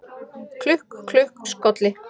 Klukk, klukk, skolli